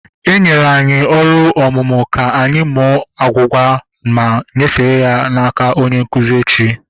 Enyere anyi ọrụ omume ka anyị mụọ agwugwa ma nyefee ya n'aka onye nkụzi echi